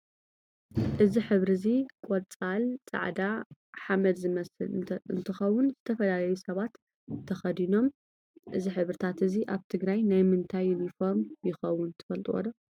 እዚ ሕብሪ እዚ ቆፃሊ ፃዕዳ ሓመድ ዝመስል እንትከውዝተፈላላዩ ሰባት ተክዲኖም እዚ ሕብርታት እዚ ኣብ ትግራይ ናይ ምንታይ ይንፎርም የከውን ትፍልጥዎዶ ?